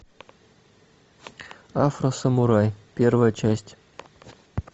афросамурай первая часть